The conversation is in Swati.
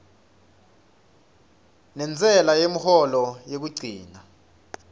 nentsela yemholo yekugcina